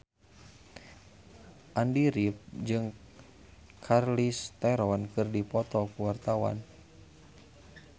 Andy rif jeung Charlize Theron keur dipoto ku wartawan